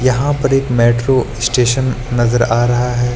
यहां पर एक मेट्रो स्टेशन नजर आ रहा है।